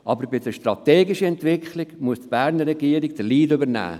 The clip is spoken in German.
Aber bei der strategischen Entwicklung muss die Berner Regierung den Lead übernehmen.